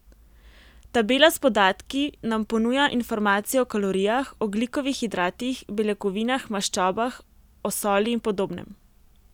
Tabela s podatki nam ponuja informacije o kalorijah, ogljikovih hidratih, beljakovinah, maščobah, o soli in podobnem.